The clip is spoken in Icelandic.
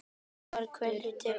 Hann heyrir til okkar.